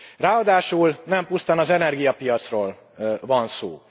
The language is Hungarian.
Ráadásul nem pusztán az energiapiacról van szó.